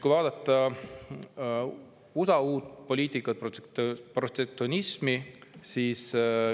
Vaatame USA uut poliitikat, protektsionismi.